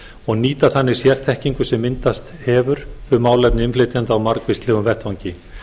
og nýta þannig sérþekkingu sem myndast hefur um málefni innflytjenda á margvíslegum vettvangi